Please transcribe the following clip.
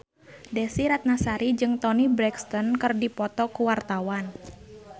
Desy Ratnasari jeung Toni Brexton keur dipoto ku wartawan